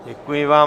Děkuji vám.